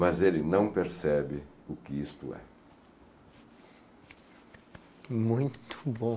Mas ele não percebe o que isto é. Muito bom.